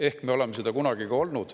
Ehk me oleme seda kunagi ka olnud.